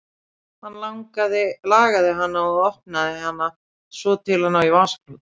Hún lagaði hana og opnaði hana svo til að ná í vasaklút.